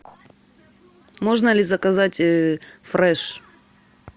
можно ли заказать фреш